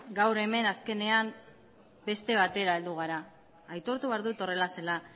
gaur hemen azkenean beste batera heldu gara aitortu behar dut horrela zela